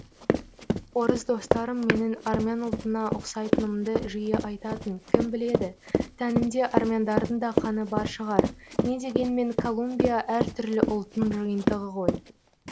орыс достарым менің армян ұлтына ұқсайтынымды жиі айтатын кім біледі тәнімде армяндардың да қаны бар шығар не дегенмен колумбия әртүрлі ұлттың жиынтығы ғой